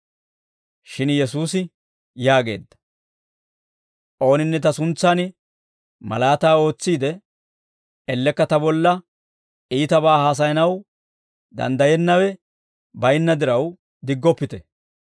Shin Yesuusi yaageedda; «Ooninne ta suntsan malaataa ootsiide, ellekka ta bolla iitabaa haasayanaw danddayiyaawe bayinna diraw diggoppite;